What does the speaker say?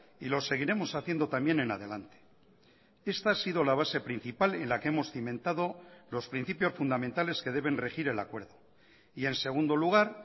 y lo seguiremos haciendo también en adelante esta ha sido la base principal en la que hemos cimentado los principios fundamentales que deben regir el acuerdo y en segundo lugar